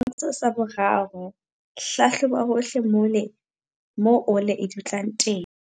Tshwantsho sa 3. Hlahloba hohle mole mo ole e dutlang teng.